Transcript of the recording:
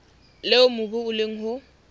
leo mobu o leng ho